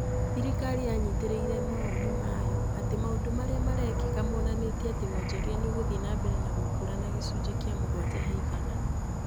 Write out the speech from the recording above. Thirikari yanyitĩrĩire mawoni mayo atĩ maũndũ marĩa marekĩka monanitie atĩ wonjoria nĩ ũgũthiĩ na mbere na gũkũra na gĩcunjĩ kĩa mũgwanja he igana.